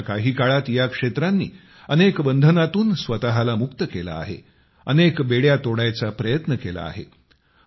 मागच्या काही काळात या क्षेत्रांनी अनेक बंधनातून स्वतःला मुक्त केले आहे अनेक बेड्या तोडायचा प्रयत्न केला आहे